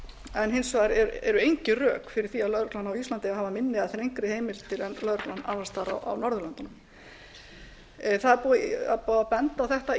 en hins vegar eru engin rök fyrir því að lögreglan á íslandi hafi minni eða þrengri heimildir en lögreglan annars staðar á norðurlöndunum það er búið að benda á þetta